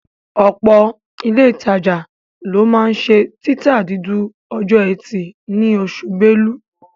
Ọ̀pọ̀ ilé ìtajà ńlá ló máa ń ṣe títa dúdú ọjọ́ ẹtì ní oṣù Belú